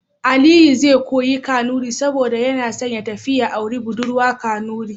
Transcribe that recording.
Aliyu zai koya Kanuri saboda yana son ya tafi ya auri budurwa Kanuri.